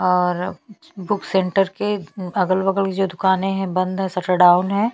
और book centre के अगल -बगल जो दुकानें है बंद है शटर डाउन हैं।